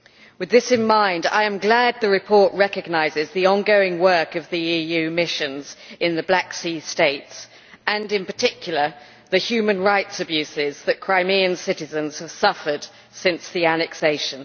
With this in mind, I am glad the report recognises the ongoing work of the EU missions in the Black Sea states and, in particular, the human rights abuses that Crimean citizens have suffered since the annexation.